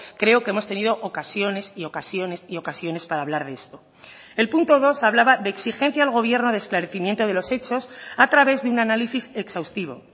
creo que hemos tenido ocasiones y ocasiones y ocasiones para hablar de esto el punto dos hablaba de exigencia al gobierno de esclarecimiento de los hechos a través de un análisis exhaustivo